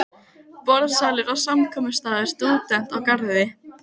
Borðsalur og samkomustaður stúdenta á Garði.